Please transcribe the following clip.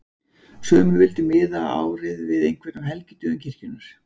Sumir vildu miða árið við einhvern af helgidögum kirkjunnar.